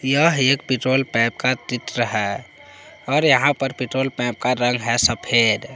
यह एक पेट्रोल पैप का चित्र है और यहां पर पेट्रोल पैप का रंग है सफेद।